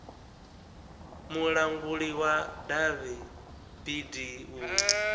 mulanguli wa davhi bd u